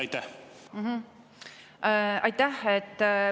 Aitäh!